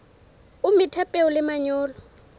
o metha peo le manyolo